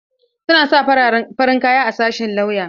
Suna sa farin kaya a sashin lauya.